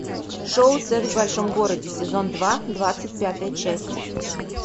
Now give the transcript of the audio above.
шоу секс в большом городе сезон два двадцать пятая часть